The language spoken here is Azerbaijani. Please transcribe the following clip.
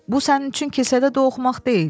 Bu sənin üçün kisədə toxumaq deyil.